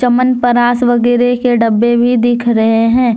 चमन परास वगैरह के डब्बे भी दिख रहे हैं।